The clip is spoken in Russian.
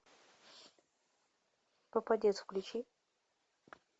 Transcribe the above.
попадец включи